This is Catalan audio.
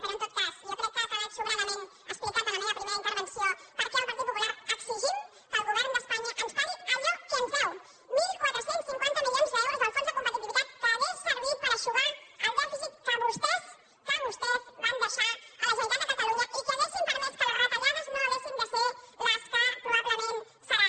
però en tot cas jo crec que ha quedat sobradament explicat en la meva primera intervenció per què el partit popular exigim que el govern d’espanya ens pagui allò que ens deu catorze cinquanta milions d’euros del fons de competitivitat que haurien servit per eixugar el dèficit que vostès que vostès van deixar a la generalitat de catalunya i que haurien permès que les retallades no haguessin de ser les que probablement seran